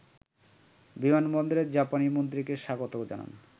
বিমানবন্দরে জাপানি মন্ত্রীকে স্বাগত জানান